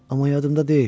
Amma yadımda deyil.